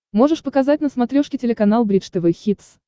можешь показать на смотрешке телеканал бридж тв хитс